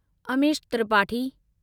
Amish Tripathi